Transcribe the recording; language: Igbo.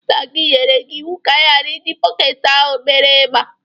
Nna gi nyere gị iwu ka ị ghara iji bọketi ahụ mere igba.